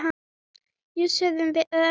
Jú, sögðum við örar.